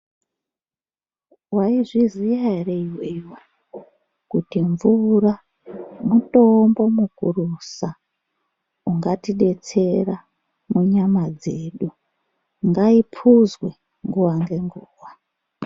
Mwaizviziya ere iwewe kuti mvura mutombo mukurusa ungatidetsera munyama dzedu ngaipuzwe nguwa ngenguwa.